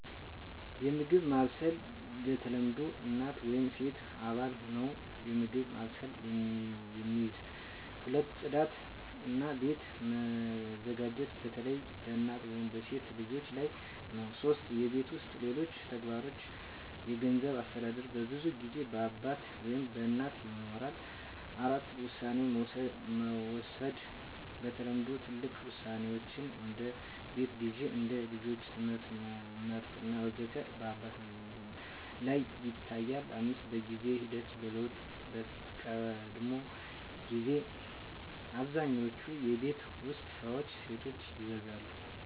1. የምግብ ማብሰል በተለምዶ እናት ወይም ሴት አባል ነው የምግብ ማብሰልን የሚይዝ። 2. ጽዳት እና ቤት መዘጋጀት በተለይ በእናት ወይም በሴት ልጆች ላይ ነው 3. የቤት ውስጥ ሌሎች ተግባሮች የገንዘብ አስተዳደር በብዙ ጊዜ በአባት ወይም በእናት ይኖራል። 4. ውሳኔ መውሰድ በተለምዶ ትልቅ ውሳኔዎች (እንደ ቤት ግዢ፣ እንደ ልጆች ትምህርት መመርጥ ወዘተ) በአባት ላይ ይታያል፣ 5. በጊዜ ሂደት ለውጦች በቀድሞ ጊዜ አብዛኛውን የቤት ውስጥ ስራዎች ሴቶች ይይዛሉ